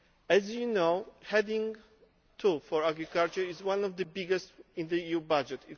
As you know, Heading 2 for agriculture is one of the biggest in the EU budget.